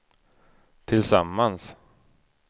tillsammans